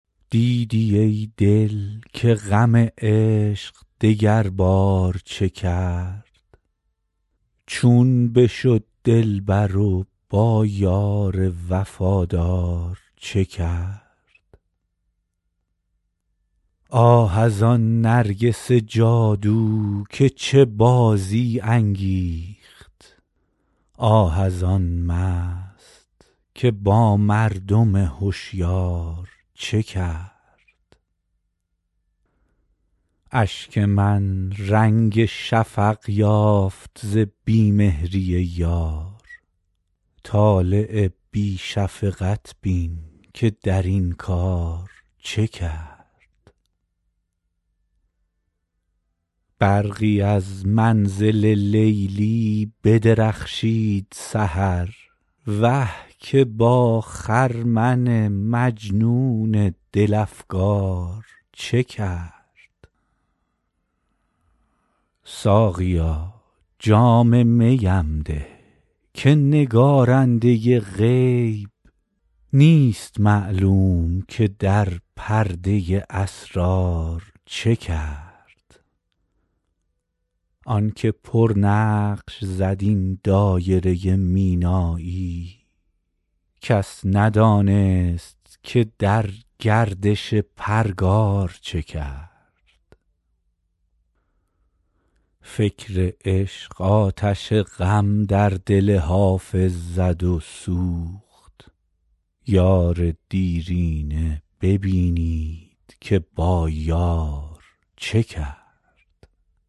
دیدی ای دل که غم عشق دگربار چه کرد چون بشد دلبر و با یار وفادار چه کرد آه از آن نرگس جادو که چه بازی انگیخت آه از آن مست که با مردم هشیار چه کرد اشک من رنگ شفق یافت ز بی مهری یار طالع بی شفقت بین که در این کار چه کرد برقی از منزل لیلی بدرخشید سحر وه که با خرمن مجنون دل افگار چه کرد ساقیا جام می ام ده که نگارنده غیب نیست معلوم که در پرده اسرار چه کرد آن که پرنقش زد این دایره مینایی کس ندانست که در گردش پرگار چه کرد فکر عشق آتش غم در دل حافظ زد و سوخت یار دیرینه ببینید که با یار چه کرد